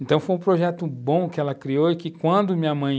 Então, foi um projeto bom que ela criou e que quando minha mãe